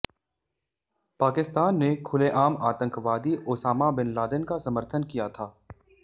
पाकिस्तान ने खुलेआम आतंकवादी ओसामा बिन लादेन का समर्थन किया था